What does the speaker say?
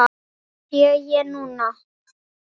Það sé ég núna.